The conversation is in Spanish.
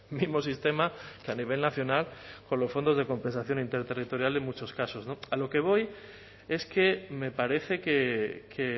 mismo sistema que a nivel nacional con los fondos de compensación interterritorial en muchos casos no a lo que voy es que me parece que